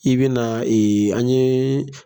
I bɛna an ye